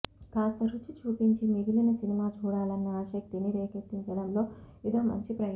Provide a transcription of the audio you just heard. కాస్త రుచి చూపించి మిగిలిన సినిమా చూడాలన్న ఆసక్తిని రేకెత్తించడంలో ఇదో మంచి ప్రయత్నం